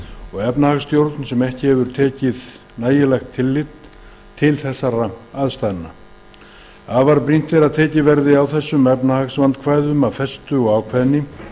og efnahagsstjórn sem ekki hefur verið tekið nægilegt tillit til afar brýnt er að tekið verði á þessum efnahagsvandkvæðum af festu og ákveðni